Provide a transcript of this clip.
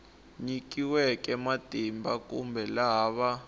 nyikiweke matimba kumbe laha va